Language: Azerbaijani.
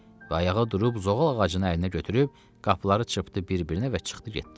Və ayağa durub zoğal ağacını əlinə götürüb, qapıları çırpdı bir-birinə və çıxdı getdi.